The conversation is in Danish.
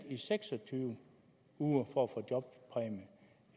i seks og tyve uger for